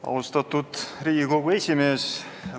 Austatud Riigikogu esimees!